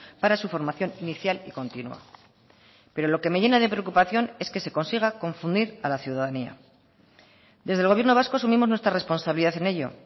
para su formación inicial y continua pero lo que me llena de preocupación es que se consiga confundir a la ciudadanía desde el gobierno vasco asumimos nuestra responsabilidad en ello